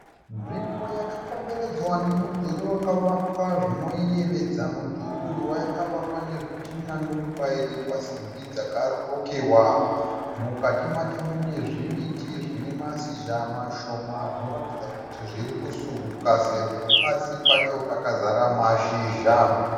Nzvimbo yakakomberedzwa nemudhuri wakavakwa zvinoyevedza. Mudhuri uyu wakavakwa nezvitinha , ndokubairirwa simbi dzakarukiwa. Mukati macho mune zvimiti zvine mashizha mashoma zvinoratidza kuti zvirikusuka sezvo pasi pacho pakazara mashizha.